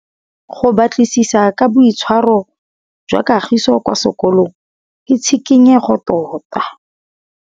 Go batlisisa ka boitshwaro jwa Kagiso kwa sekolong ke tshikinyêgô tota.